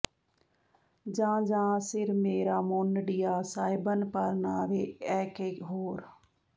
ਜਾਂ ਜਾਂ ਸਿਰ ਮੇਰਾ ਮੋਨਢੀਆਂ ਸਾਹਿਬਾਨ ਪਰਨਾਹਵੇਂ ਏਂ ਕੈਂ ਹੋਰ